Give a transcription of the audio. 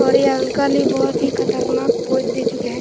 और ये अंकल भी बहुत ही खतरनाक पोज दे चुके हैं।